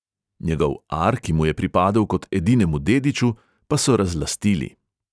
Njegov ar, ki mu je pripadel kot edinemu dediču, pa so razlastili.